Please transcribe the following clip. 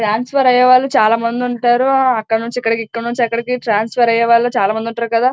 Transfer అయ్యేవాళ్ళు చాల మంది వుంటారు అక్కడ నుండి ఇక్కడకి ఇక్కడ నుంచి అక్కడికి ట్రాన్స్ఫర్ అయ్యే వాళ్ళు చాల మంది ఉంటారు కదా.